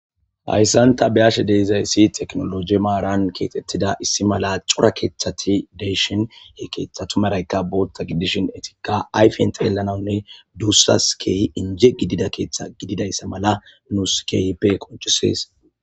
Hayssanta biyashe deizayssi teknoloji maaran keetettida issi mala cura keeththati deyshin he keeththatumaraykka bootta gidishin etika ayfen tyelanaunne duussas keeyi inje gidida keeththa gididayssa mala nuus keyippe qonchisees.